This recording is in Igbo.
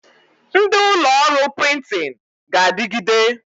Ndị ụlọ ọrụ prịntịn ga-adịgide